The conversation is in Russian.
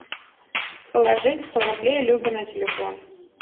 положить сто рублей любе на телефон